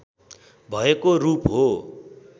भएको रूप हो